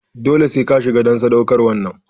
Dole sai ka shiga en sadaukarwan nan!